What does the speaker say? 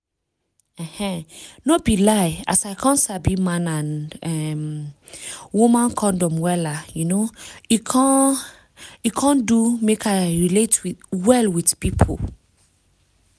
um no be lie as i come sabi man and um woman condom wella um e come e come do make i relate well with pipu